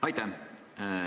Aitäh!